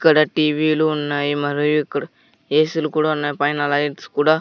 ఇక్కడ టీ_వీ లు ఉన్నాయి మరియు ఇక్కడ ఎ_సీ లు కూడా ఉన్నాయి పైన లైట్స్ కూడా.